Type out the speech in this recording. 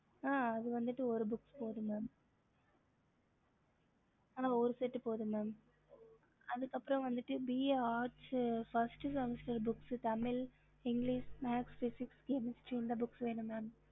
ஹம்